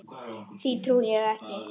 Því trúi ég ekki.